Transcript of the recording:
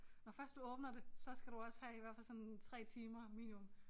Når først du åbner det så skal du også have i hvert fald sådan 3 timer minimum